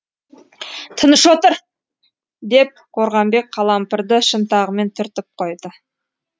тыныш отыр деп қорғамбек қалампырды шынтағымен түртіп қойды